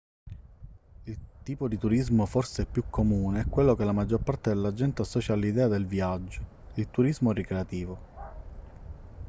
il tipo di turismo forse più comune è quello che la maggior parte della gente associa all'idea del viaggio il turismo ricreativo